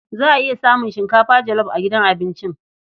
Za a iya samun shinkafa jolof a gidan abincin.